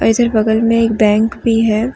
बगल में एक बैंक भी है।